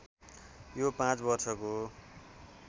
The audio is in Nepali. यो पाँच वर्षको